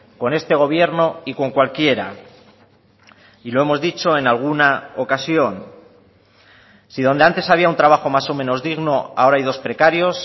con este gobierno y con cualquiera y lo hemos dicho en alguna ocasión si donde antes había un trabajo más o menos digno ahora hay dos precarios